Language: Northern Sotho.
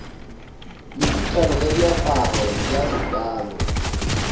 mekitlana ya diaparo bj bj